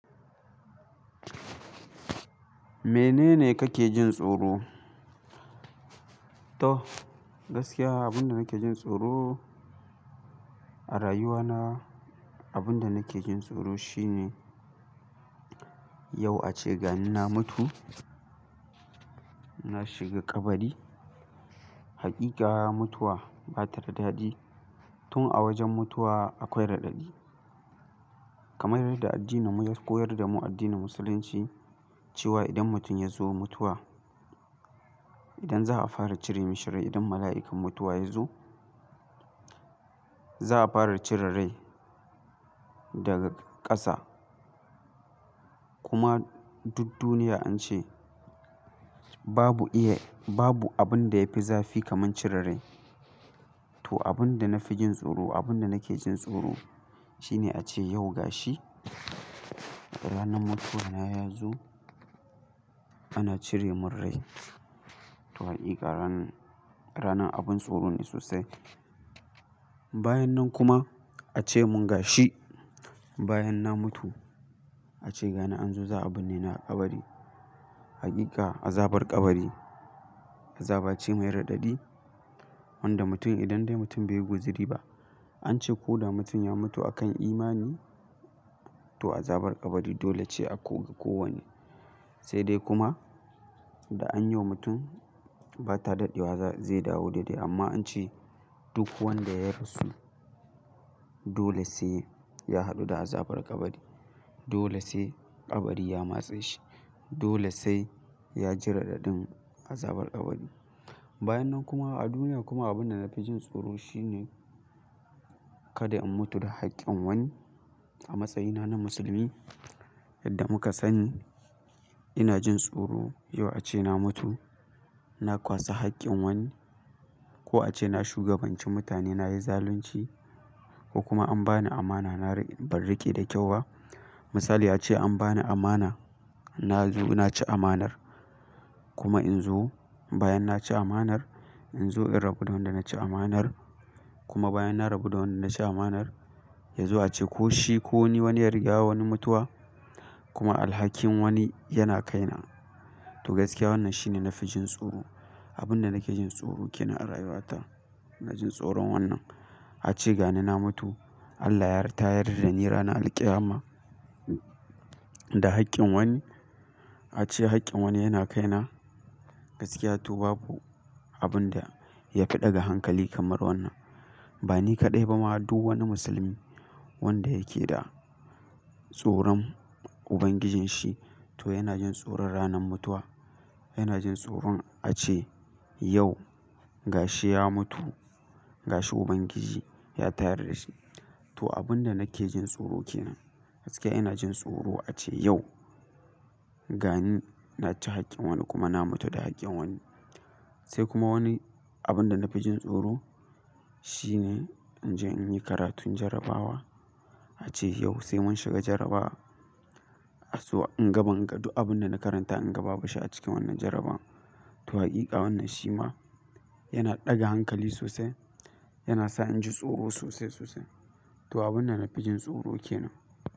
Mene ne kake jin tsoro? To gaskiya abin da nake jin tsoro a rayuwa na, abin da nake jin tsoro shine yau a ce gani na mutu, na shiga kabari. Haƙika mutuwa bata da dadi tun a wajen mutuwa akwai raɗaɗi. Kamar yadda addinin mu ya koyar da mu addinin musulunci cewa idan mutum ya zo mutuwa, idan za a fara cire mishi rai idan mala'ikan mutuwa ya zo, za a fara cire rai daga ƙasa. Kuma duk duniya an ce babu iya, babu abin da yafi zafi kamar cire rai. To abin da na fi jin tsoro, abin da nake jin tsoro shine a ce yau ga shi ranar mutuwa na ya zo ana cire mun rai. To haƙika ranan ranan abub tsoro ne sosai. Bayan nan kuma a ce mun gashi, bayan na mutu a ce gani an zo za a birne ni a kabari. Hakika azabar kabari azaba ce mai raɗaɗi wanda mutum idan dai mutum baiyi guzi riba an ce ko da mutum ya mutu a kan imani to azabar ƙabari dole ce a koga kowanne. Sai dai kuma da an yoma mutum bata daɗewa zai dawo daidai amma an ce duk wanda ya rasu dole sai ya hadu da azabar kabari. Dole sai kabari ya matse shi. Dole sai ya ji raɗaɗin azabar kabari. Bayan nan kuma a duniya kuma abin da na fi jin tsoro shine kada in mutu da haƙƙin wani. A matsayina na musulmi yadda muka sani ina jin tsoro yau a ce na mutu na ƙwasa haƙƙin wani ko a ce na shugabanci mutane na yi zalunci ko kuma an bani ama na bar riƙe da kyau wa. Misali a ce an bani amana na zo na ci amanar kuma in zo bayan na ci amanar in zo in rabu da wanda na ci amanar kuma bayan na rabu da wanda na ci amanar yazo a ce ko shi ko ni wani ya riga wani mutuwa kuma alhakin wani yana kaina to gaskiya wannan shine na fi jin tsoro. Abin da nake jin tsoro kenan a rayuwa ta ina jin tsoron wannan. Ace gani na mutu Allah ya tayar dani ranar alqiyama da haƙƙin wani a ce haƙƙin wani yana kai na gaskiya to babu abun da ya fi ɗaga hankali kamar wannan. Ba ni kaɗai ba ma duk wani musulmi wanda yake da tsoron Ubangijin shi to yana jin tsoron ranar mutuwa. Yana jin tsoron a ce yau ga shi ya mutu, ga shi Ubangiji ya tayar da shi. To abin da nake jin tsoro kenan gaskiya ina jin tsoro a ce yau gani na ci haƙƙin wani kuma na mutu da haƙƙin wani. Sai kuma wani abin da na fi jin tsoro shine in je in yi karatun jarabawa a ce yau sai mun shiga jarabawa aswa in gaban ga duk abin da na karanta in gaba bu shi a cikin wannan jarabawan. To hakika wannan shi ma yana ɗaga hankali sosai, yana sa inji tsoro sosai sosai. To abun da na fi jin tsoro kenan.